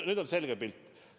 Nüüd on selge pilt.